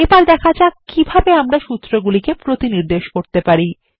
এবার দেখা যাক কিভাবে আমরা এই সূত্রগুলিকে প্রতিনির্দেশ করতে পারি